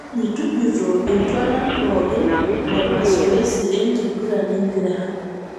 olly tujuto iltualan pooki lemasoesi enkiguran empira